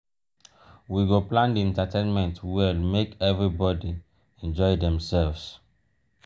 we go plan di entertainment well make everybodi enjoy demselves.